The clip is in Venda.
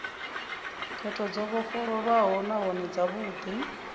khetho dzo vhofholowaho nahone dzavhudi